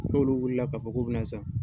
N'olu wulila k'a fɔ k'u bina san